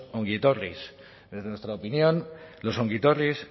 ongietorris desde nuestra opinión los ongietorris